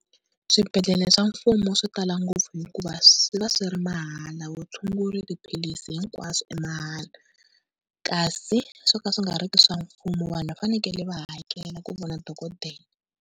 Swibedhlele swa mfumo swi tala ngopfu hikuva swi va swi ri mahala vutshunguri tiphilisi hinkwaswo i mahala. Kasi swo ka swi nga ri ki swa mfumo vanhu va fanekele va hakela ku vona dokodela.